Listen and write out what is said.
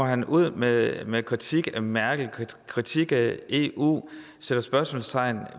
han ud med med kritik af merkel kritik af eu sætter spørgsmålstegn